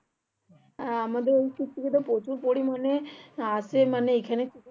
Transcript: আমাদের প্রচুর পরিমানে আসে মানে এখানে